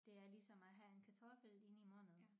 Det er ligesom at have en kartoffel inde i munden